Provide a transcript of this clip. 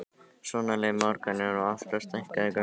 Svona leið morgunninn og alltaf stækkuðu göngin.